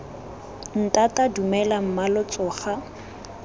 ntata dumela mma lo tsoga